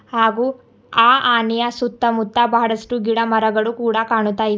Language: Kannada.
ಹಾಗು ಆನೆಯ ಸುತ್ತಮುತ್ತ ಬಹಳಷ್ಟು ಗಿಡ ಮರಗಳು ಕೂಡ ಕಾಣ್ತಾಯಿ--